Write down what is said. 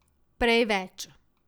Prej več.